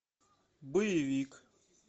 боевик